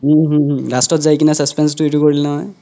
হুম হুম last ত যাই কেনে suspense তো এইতো কৰিলে নহয়